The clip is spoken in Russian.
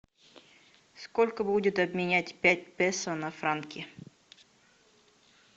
сколько будет обменять пять песо на франки